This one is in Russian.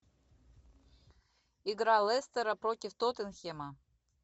игра лестера против тоттенхэма